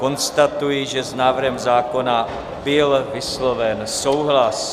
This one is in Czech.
Konstatuji, že s návrhem zákona byl vysloven souhlas.